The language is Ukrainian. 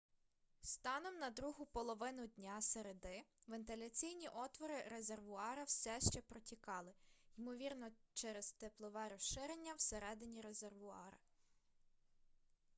станом на другу половину дня середи вентиляційні отвори резервуара все ще протікали ймовірно через теплове розширення всередині резервуара